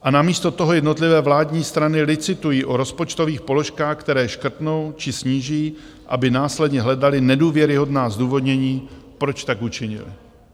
A namísto toho jednotlivé vládní strany licitují o rozpočtových položkách, které škrtnou či sníží, aby následně hledaly nedůvěryhodná zdůvodnění, proč tak učinily.